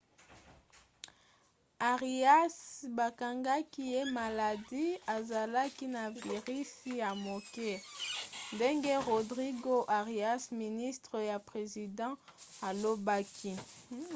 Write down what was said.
arias bakangaki ye maladi azalaki na virisi ya moke ndenge rodrigo arias ministre ya president alobaki